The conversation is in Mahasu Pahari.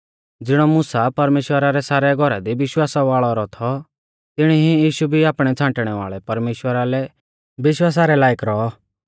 ज़िणौ मुसा परमेश्‍वरा रै सारै घौरा दी विश्वास वाल़ौ रौ थौ तिणी ई यीशु भी आपणै छ़ांटणै वाल़ै परमेश्‍वरा लै विश्वासा रै लायक रौऔ